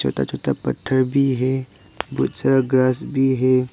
छोटा छोटा पत्थर भी है बहोत सारा ग्रास भी है।